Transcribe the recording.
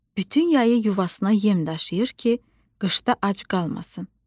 Bütün yayı yuvasına yem daşıyır ki, qışda ac qalmasın.